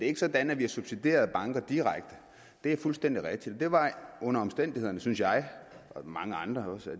ikke sådan at vi har subsidieret banker direkte det er fuldstændig rigtigt det var under omstændighederne synes jeg og mange andre også